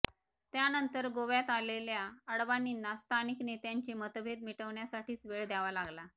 त्यानंतर गोव्यात आलेल्या अडवाणींना स्थानिक नेत्यांचे मतभेद मिटवण्यासाठीच वेळ द्यावा लागला